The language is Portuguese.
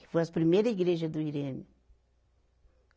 Que foi as primeira igreja do Irene.